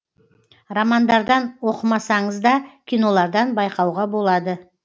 романдардан оқымасаңыз да кинолардан байқауға болады